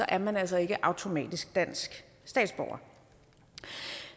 er man altså ikke automatisk dansk statsborger